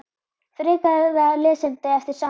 Frekara lesefni eftir sama höfund